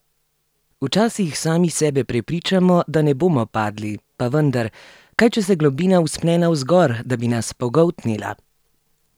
Včasih sami sebe prepričamo, da ne bomo padli, pa vendar, kaj če se globina vzpne navzgor, da bi nas pogoltnila?